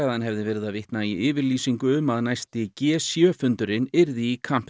að hann hefði verið að vitna í yfirlýsingu um að næsti g sjö fundurinn yrði í